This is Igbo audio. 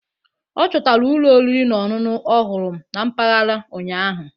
Ọ chọtara ụlọ oriri na ọṅụṅụ ọhụrụ na mpaghara ụnyahụ.